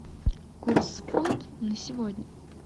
курс фунт на сегодня